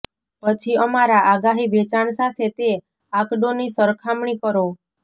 પછી અમારા આગાહી વેચાણ સાથે તે આંકડોની સરખામણી કરો